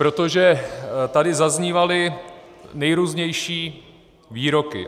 Protože tady zaznívaly nejrůznější výroky.